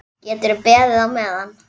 Geturðu beðið á meðan.